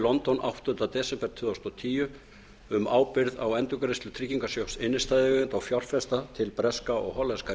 london áttundi desember tvö þúsund og tíu um ábyrgð á endurgreiðslu tryggingarsjóðs innstæðueigenda og fjárfesta til breska og hollenska